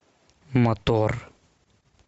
мотор